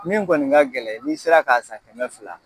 Min kɔni ka gɛlɛn, n'i sera ka san kɛmɛ fila